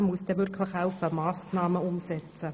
Man muss dann auch wirklich helfen, Massnahmen umzusetzen.